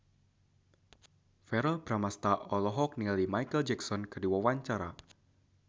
Verrell Bramastra olohok ningali Micheal Jackson keur diwawancara